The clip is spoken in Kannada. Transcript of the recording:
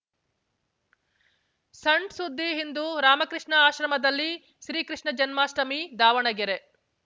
ಸಣ್‌ ಸುದ್ದಿ ಇಂದು ರಾಮಕೃಷ್ಣ ಆಶ್ರಮದಲ್ಲಿ ಶ್ರೀ ಕೃಷ್ಣ ಜನ್ಮಾಷ್ಟಮಿ ದಾವಣಗೆರೆ